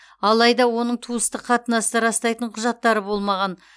алайда оның туыстық қатынасты растайтын құжаттары болмаған